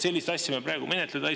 Sellist asja ei saa me praegu menetleda.